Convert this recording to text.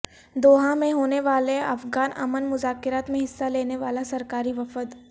Doha میں ہونے والے افغان امن مذاکرات میں حصہ لینے والا سرکاری وفد